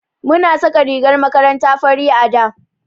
Muna saka rigar makaranta fari a da.